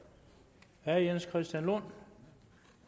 er jens christian lund